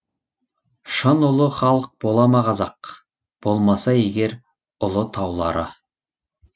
шын ұлы халық бола ма қазақ болмаса егер ұлы таулары